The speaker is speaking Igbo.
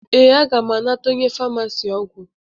Ee, aga m anata onye famasi ọgwụ